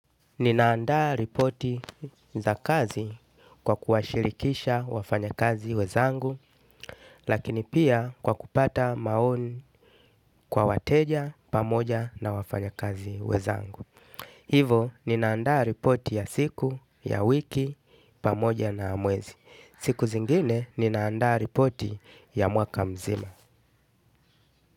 Ninaandaa ripoti za kazi kwa kuwashirikisha wafanya kazi wezangu, lakini pia kwa kupata maoni kwa wateja pamoja na wafanya kazi wezangu. Hivo, ninaandaa ripoti ya siku, ya wiki, pamoja na ya mwezi. Siku zingine, ninaandaa ripoti ya mwaka mzima.